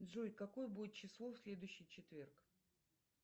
джой какое будет число в следующий четверг